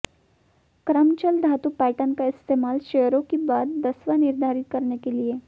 क्रम चल धातु पैटर्न का इस्तेमाल शेयरों की बाद दसवां निर्धारित करने के लिए